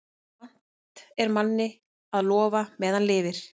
Vant er manni að lofa meðan lifir.